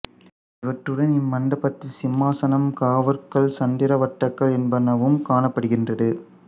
இவற்றுடன் இம் மண்டபத்தில் சிம்மாசனம் காவற்கல் சந்திரவட்டக்கல் என்பனவும் காணப்படுகின்றது